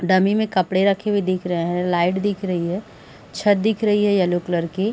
Dummy में कपड़े रखे हुए दिख रहें हैं लाइट दिख रही है छत्त दिख रही है येलो क्लर की।